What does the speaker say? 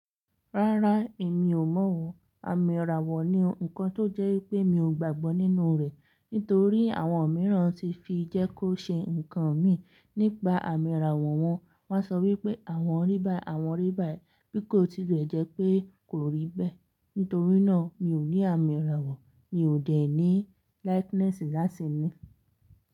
Rárá, èmi ò mọ̀ ọ̀. Àmì ìràwọ̀ ni nǹkan tó jẹ́ wipé mi ò gbàgbọ́ nínú rẹ̀. Nítorí àwọn mìíràn ti fi jẹ́ kó ṣe ǹkan mi nípa àmì ìràwọ̀ wọn. Wọ́n á sọ wípé àwọn rí báyìí, àwọn rí báyìí, bí kò tí lè jẹ́ pé kò rí bẹ́ẹ̀. Nítorí náà mi ò ní àmì ìràwọ̀, mi ò dẹ̀ ní likeness láti ní.